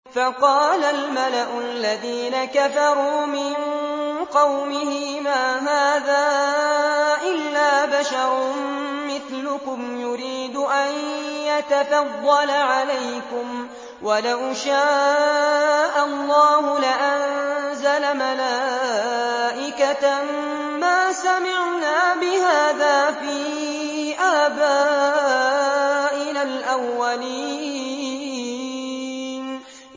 فَقَالَ الْمَلَأُ الَّذِينَ كَفَرُوا مِن قَوْمِهِ مَا هَٰذَا إِلَّا بَشَرٌ مِّثْلُكُمْ يُرِيدُ أَن يَتَفَضَّلَ عَلَيْكُمْ وَلَوْ شَاءَ اللَّهُ لَأَنزَلَ مَلَائِكَةً مَّا سَمِعْنَا بِهَٰذَا فِي آبَائِنَا الْأَوَّلِينَ